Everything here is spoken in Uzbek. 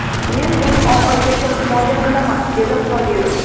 Men uni oxirigacha himoya qilaman”, dedi Qodirov.